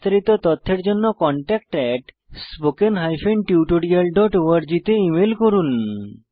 বিস্তারিত তথ্যের জন্য contactspoken tutorialorg তে ইমেল করুন